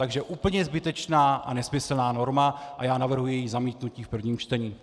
Takže úplně zbytečná a nesmyslná norma a já navrhuji její zamítnutí v prvním čtení.